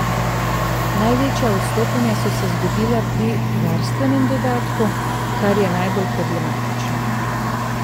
Največja odstopanja so se zgodila pri varstvenem dodatku, kar je najbolj problematično.